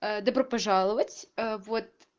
добро пожаловать вот